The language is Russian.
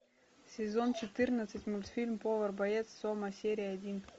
сезон четырнадцать мультфильм повар боец сома серия один